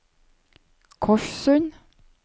Korssund